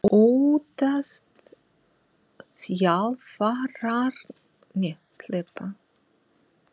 Óttast þjálfararnir ekki að sjálfstraust leikmannsins sé lítið?